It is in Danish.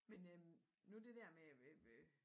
Men øh nu det der med øh øh